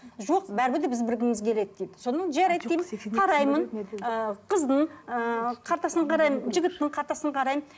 жоқ бәрібір де біз білгіміз келеді дейді содан жарайды деймін қараймын ы қыздың ы картасын қараймын жігіттің картасын қараймын